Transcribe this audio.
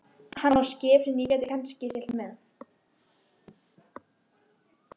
Hann á skip sem ég get kannski siglt með.